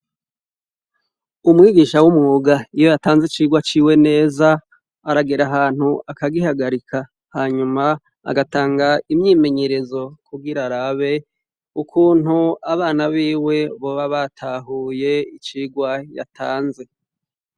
Umwigisha w'umuga iyo yatanze icirwa ciwe neza aragera ahantu akagihagarika hanyuma agatanga imyimenyerezo kugo i rarabe ukuntu abana biwe boba batahuye icirwa yatanze.